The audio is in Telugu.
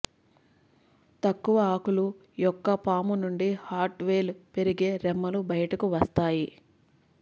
తక్కువ ఆకులు యొక్క పాము నుండి హార్డ్ వేళ్ళు పెరిగే రెమ్మలు బయటకు వస్తాయి